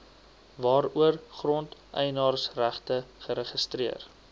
waaroor grondeienaarsregte geregistreer